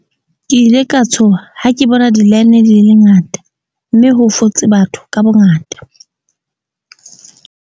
Ke ile ka tshoha ha ke bona di-line di le ngata, mme ho fotse batho ka bongata.